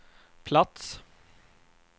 plats